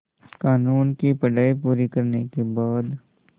क़ानून की पढा़ई पूरी करने के बाद